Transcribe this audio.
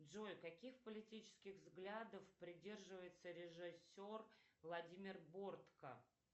джой каких политических взглядов придерживается режиссер владимир бортко